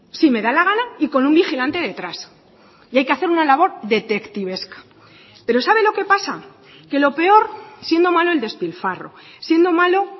si me da la gana y con un vigilante detrás y hay que hacer una labor detectivesca pero sabe lo que pasa que lo peor siendo malo el despilfarro siendo malo